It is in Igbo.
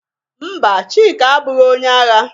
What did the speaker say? Mba, Chika abụghị onye agha.